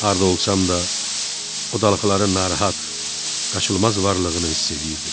Harda olsam da, o dalğaların narahat, qaçılmaz varlığını hiss eləyirdim.